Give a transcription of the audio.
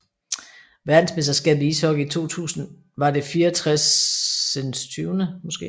Verdensmesterskabet i ishockey 2000 var det 64